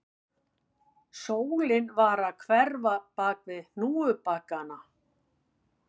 Sólin var að hverfa bak við hnúkana